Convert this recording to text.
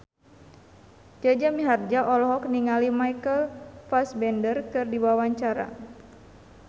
Jaja Mihardja olohok ningali Michael Fassbender keur diwawancara